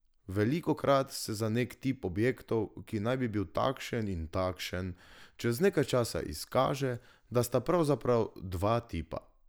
Velikokrat se za nek tip objektov, ki naj bi bil takšen in takšen, čez nekaj časa izkaže, da sta pravzaprav dva tipa.